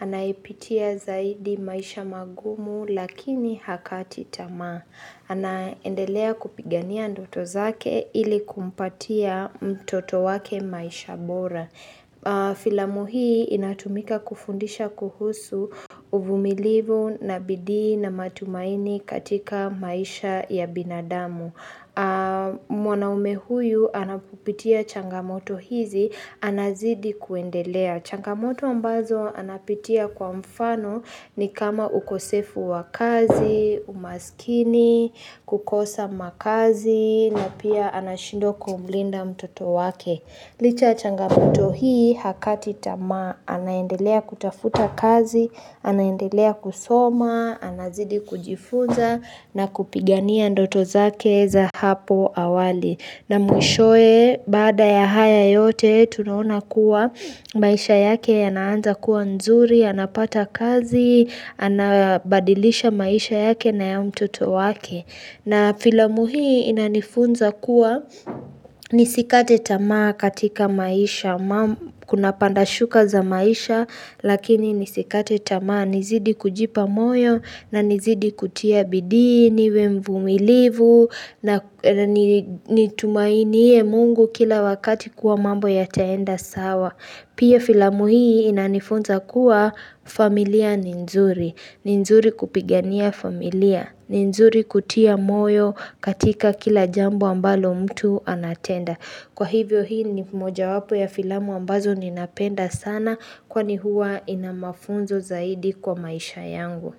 anayepitia zaidi maisha magumu lakini hakati tama. Anaendelea kupigania ndoto zake ili kumpatia mtoto wake maisha bora. Filamu hii inatumika kufundisha kuhusu uvumilivu na bidii na matumaini katika maisha ya binadamu mwanaume huyu anapopitia changamoto hizi anazidi kuendelea changamoto ambazo anapitia kwa mfano ni kama ukosefu wa kazi, umaskini, kukosa makazi na pia anashindwa kumlinda mtoto wake Licha ya changamoto hii hakati tamaa anaendelea kutafuta kazi, anaendelea kusoma, anazidi kujifunza na kupigania ndoto zake za hapo awali. Na mwishowe baada ya haya yote tunaona kuwa maisha yake yana anza kuwa nzuri, anapata kazi, anabadilisha maisha yake na ya mtoto wake. Na filamu hii inanifunza kuwa nisikate tamaa katika maisha kuna pandashuka za maisha lakini nisikate tamaa nizidi kujipa moyo na nizidi kutia bidii niwe mvumilivu na nitumainie mungu kila wakati kuwa mambo yataenda sawa. Pia filamu hii inanifunza kuwa familia ni nzuri, ni nzuri kupigania familia, ni nzuri kutia moyo katika kila jambo ambalo mtu anatenda Kwa hivyo hii ni moja wapo ya filamu ambazo ninapenda sana kwani huwa ina mafunzo zaidi kwa maisha yangu.